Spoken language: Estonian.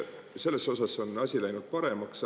Selles osas on asi läinud paremaks.